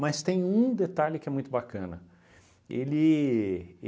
Mas tem um detalhe que é muito bacana. Ele